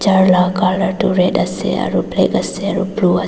la colour tu red ase aru kala ase aru blue ase.